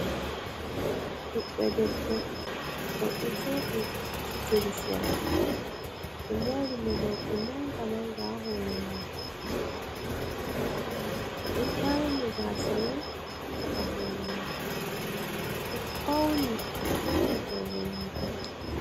Ɗiɗdo debbo o ɗo joɗi hositiri sera, ɓe muri mo morɗi manga manga ha hore mako, o ɗo tarni gasamai ha chaka hore mako, o ɗo fauni torni hore mako.